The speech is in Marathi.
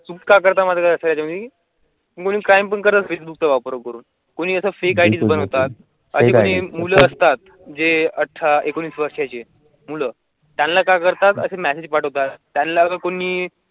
तुम का करतामध्ये आहे मी? मुला आस्तात जे आत्रा एकनीस वर्षांची मुलं त्यांना काय करतात असे मेसेज पाठवता त्याला कोणी?